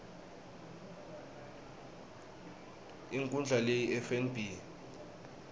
inkhundla lehie ifnb